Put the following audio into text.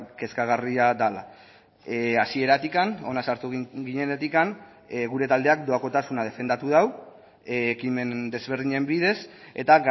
kezkagarria dela hasieratik hona sartu ginenetik gure taldeak doakotasuna defendatu du ekimen desberdinen bidez eta